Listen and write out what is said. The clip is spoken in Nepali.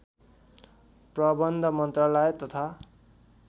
प्रबन्ध मन्त्रालय तथा